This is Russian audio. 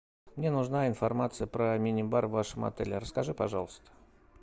мне нужна информация про мини бар в вашем отеле расскажи пожалуйста